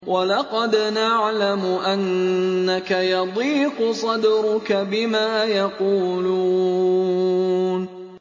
وَلَقَدْ نَعْلَمُ أَنَّكَ يَضِيقُ صَدْرُكَ بِمَا يَقُولُونَ